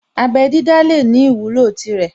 Abẹ́ dídá lè ní ìwúlò tirẹ̀